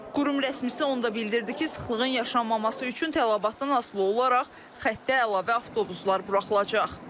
Qurum rəsmisi onu da bildirdi ki, sıxlığın yaşanmaması üçün tələbatdan asılı olaraq xəttə əlavə avtobuslar buraxılacaq.